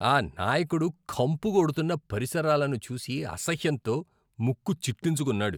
ఆ నాయకుడు కంపు కొడుతున్న పరిసరాలను చూసి అసహ్యంతో ముక్కు చిట్లించుకున్నాడు.